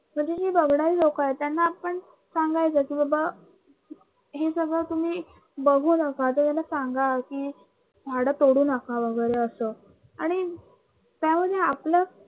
तर ही जी बघणारी लोकं आहेत त्यांना आपण सांगायचं कि बाबा हे सगळ तुम्ही बघू नका त्यांना सांगा कि झाडं तोडू नका वगी असं आणि त्यामुळे आपलं